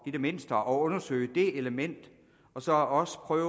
i det mindste at undersøge det element og så også prøve